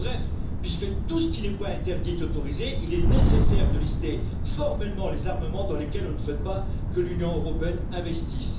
Bref, puisque tout ce qui n'est pas interdit est autorisé, il est nécessaire de lister formellement les armements dans lesquels on ne souhaite pas que l'Union européenne investisse.